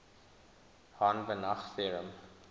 hahn banach theorem